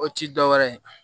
O ti dɔwɛrɛ ye